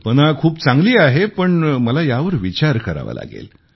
कल्पना खूप चांगली आहे पण मला यावर विचार करावा लागेल